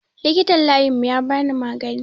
Likitan layin mu yabani maganin